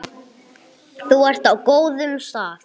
Þú ert á góðum stað.